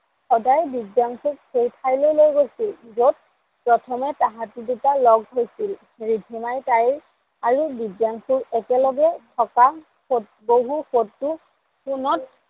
সদায় দিব্যাংসুক সেই ঠাইলৈ লৈ গৈছিল য'ত প্ৰথমে তাহাটি দুটা লগ হৈছিল। ৰিধিমাই তাইৰ আৰু দিব্যাংসুৰ একে লগে থকা বহু ফটো ফোনত